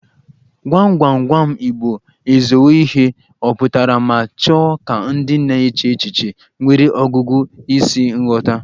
Gwam gwam gwam igbo ezowo ihe ọ pụtara ma chọọ ka ndị na-eche echiche nwere ọgụgụ isi ghọta